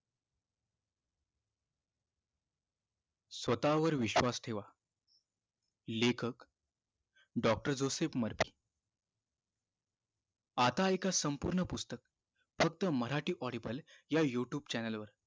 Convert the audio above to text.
स्वतःवर विश्वास ठेवा लेखक doctor जोसेफ आता एक संपूर्ण पुस्तक फक्त मराठी audio या youtube channel वर